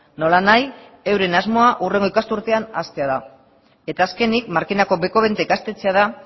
nolanahi euren asmoa hurrengo ikas urtean hastea da eta azkenik markinako bekobenta ikastetxea da